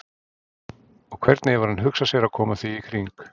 Og hvernig hefur hann hugsað sér að koma því í kring?